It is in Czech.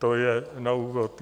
To je na úvod.